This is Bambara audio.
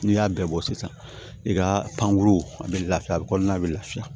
N'i y'a bɛɛ bɔ sisan i ka pankuru a bɛ lafiya a bɛ kɔɔna bɛ lafiya